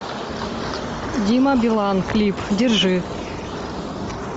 дима билан клип держи